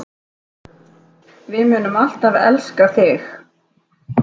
Við munum alltaf elska þig.